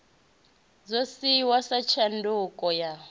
ḓo dzhiiwa sa tshanduko ya